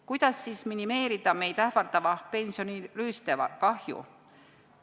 Kuidas siis minimeerida meid ähvardava pensionirüüste kahju?